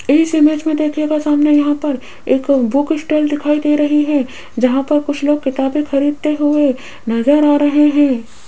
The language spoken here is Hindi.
इस इमेज में देखिएगा सामने यहां पर एक बुक स्टाइल दिखाई दे रही है जहां पर कुछ लोग किताबें खरीदते हुए नजर आ रहे हैं।